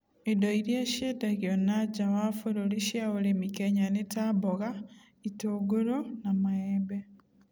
Indo iria ciendagio na nja wa bũrũri cia ũrĩmi Kenya nĩ ta mboga, itũnguro ma maembe